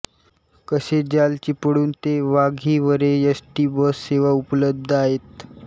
कसे जाल चिपळूण ते वाघिवरे एसटी बस सेवा उपलब्ध आहेत